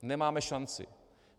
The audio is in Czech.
Nemáme šanci.